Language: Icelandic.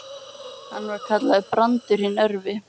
Hann var kallaður Brandur hinn örvi.